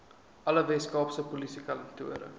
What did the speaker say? alle weskaapse polisiekantore